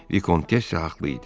Vikontessa haqlı idi.